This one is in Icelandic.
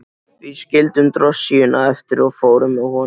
Við skildum drossíuna eftir og fórum með honum.